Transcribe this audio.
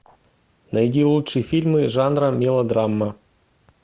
найди лучшие фильмы жанра мелодрама